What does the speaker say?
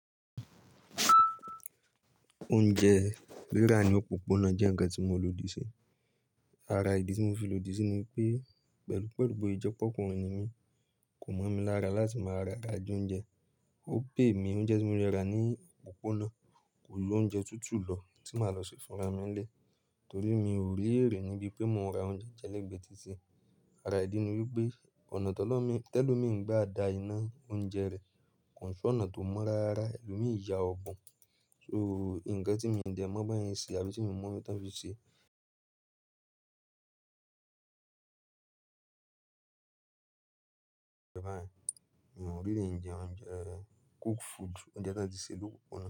Oúnjẹ rírà ní òpópónà jẹ́ ǹkan tí mo lòdì sí. Ara ìdí tí mo fi lòdì síi ni wípé pẹ̀lú pẹ̀lú pé ìjẹ́pọ́ ọkùnrin ni mí, kò mọ̀ mi lára láti máa ra adùn oúnjẹ. Ó pè mí oúnjẹ tí mo lè rà ní òpópónà kò lè lo oúnjẹ tútù lọ tí màá lọ ṣe fún ara mi ń lé, torí mi ò rí èrè níbí pé mo máa ra oúnjẹ jẹ́ lẹ́gbẹ̀ẹ́ títí. Ara ìdí ni wípé ọ̀nà tẹ́lọ̀ mi ń gba àdá iná oúnjẹ rẹ kò ṣe ọ̀nà tó mọ́ rárá, ẹlòmíì já ọbùn. So ǹkan tí mo ń dẹ̀ mọ̀ bí wọ́n ṣe àbí tí mi mọ̀ ti wọ́n fi ṣe food, oúnjẹ tí wọ́n ti ṣe ni opópona.